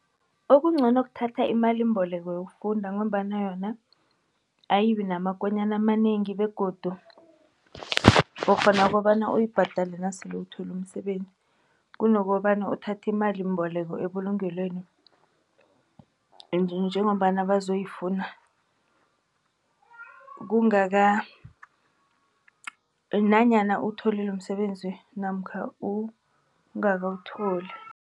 Okungcono kuthatha imalimboleko yokufunda ngombana yona ayibi namakonyana amanengi begodu ukghona ukobana uyibhadale nasele uthola umsebenzi. Kunokobana uthathe imalimboleko ebulungelweni njengombana bazoyifuna nanyana uwutholile umsebenzi namkha ungakawutholi.